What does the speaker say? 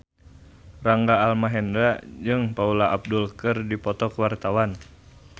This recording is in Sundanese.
Rangga Almahendra jeung Paula Abdul keur dipoto ku wartawan